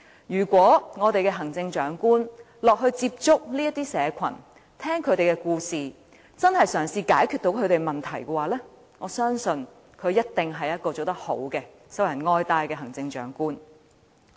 如果我們的行政長官落區接觸這些社群，聆聽他們的故事，真正嘗試解決他們的問題，我相信他一定是做得好，受人愛戴的行政長官。